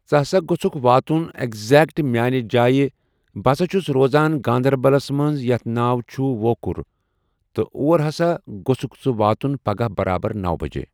ژٕ ہَسا گوٚژُھکھ واتُن ایٚکزیکٹ میانہِ جایہِ بہٕ سا چھُس روزان گندربلس منٛز یَتھ ناو چھُ وۄکھُر تہٕ اور ہسا گوٚژکھ ژٕ واتُن پگہہ برابر نو بَجے۔